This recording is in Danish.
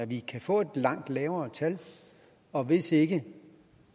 vi kan få et langt lavere tal og hvis ikke